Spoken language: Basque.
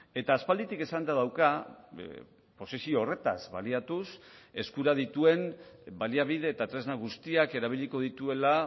eta aspalditik esanda dauka posizio horretaz baliatuz eskura dituen baliabide eta tresna guztiak erabiliko dituela